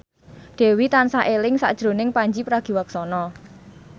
Dewi tansah eling sakjroning Pandji Pragiwaksono